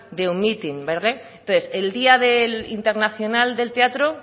de un mitin entonces el día del internacional del teatro